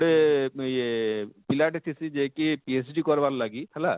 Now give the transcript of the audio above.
ଟେ ଆଃ ଇଏ ପିଲା ଟେ ଥିସି ଯିଏ କି PhD କରବାର ଲାଗି ହେଲା